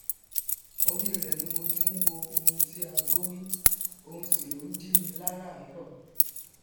orí rẹ ni mo ti ń wò oun tí ago wí òun sì ló ń jí mi láràárọ